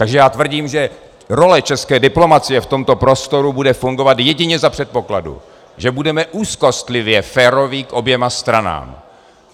Takže já tvrdím, že role české diplomacie v tomto prostoru bude fungovat jedině za předpokladu, že budeme úzkostlivě féroví k oběma stranám.